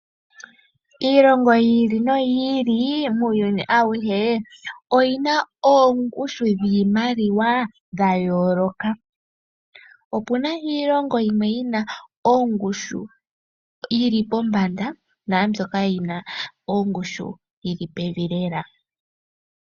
Iilongo yi ili noyi ili muuyuni auhe oyina oongushu dhiimaliwa dhayooloka. Opuna iilongo yimwe yina oongushu yiimaliwa yili pombanda naambyoka yina ongushu yili pevi lela.